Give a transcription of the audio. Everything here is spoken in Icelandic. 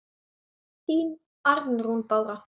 Þín, Arnrún Bára.